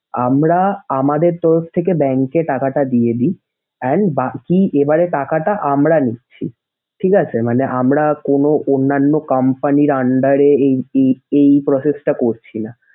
আমরা আমদের তরফ থেকে bank এ টাকাটা দিয়ে দিই। And বাকি এবারে টাকাটা আমরা নিচ্ছি। ঠিক আছে? মানে আমরা কোন অন্যান্য company র under এ এই এই এই process টা করছি না।